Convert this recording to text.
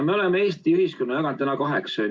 Me oleme Eesti ühiskonna jaganud täna kaheks.